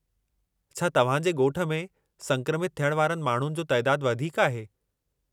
छा तव्हां जे ॻोठ में संक्रमित थियण वारनि माण्हुनि जो तइदादु वधीक आहे?